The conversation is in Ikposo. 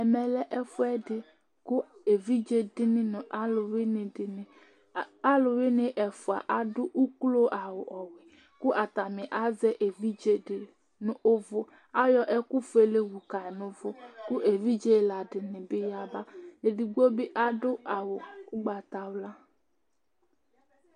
Ɛmɛlɛ ɛfʋɛdi kʋ evidze dìní nʋ alʋwìní dìní Alʋwìní ɛfʋa adʋ ʋklo awu kʋ atani azɛ evidze di nu ʋvu Ayɔ ɛku fʋele wu ka nʋ ʋvu kʋ evidze ɛla dìní bi yaba Ɛdigbo adu awu ugbatawla